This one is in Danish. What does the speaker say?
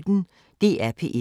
DR P1